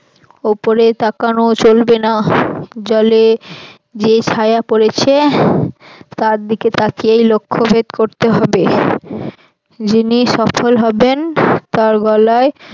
ওপরে তাকানো চলবে না জলে যে ছায়া পড়েছে তার দিকে তাকিয়ে লক্ষ্যভেদ করতে হবে যিনি সফল হবেন তার গলায়